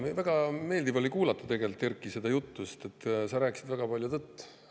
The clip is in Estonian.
Jaa, väga meeldiv oli kuulata tegelikult, Erkki, seda juttu, sest sa rääkisid väga palju tõtt.